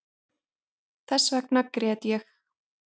Þessvegna grét ég